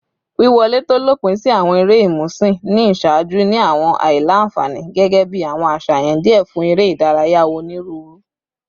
Wiwọle to lopin si awọn ere imusin ni iṣaaju ni awọn aila-nfani, gẹgẹbi awọn aṣayan diẹ fun ere idaraya oniruuru